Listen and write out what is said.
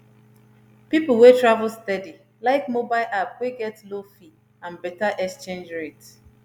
people wey travel steady like mobile app wey get low fee and better exchange rate